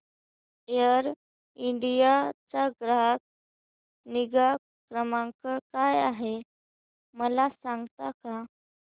air India चा ग्राहक निगा क्रमांक काय आहे मला सांगता का